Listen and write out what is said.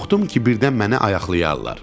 Qorxdum ki, birdən mənə ayaqlayarlar.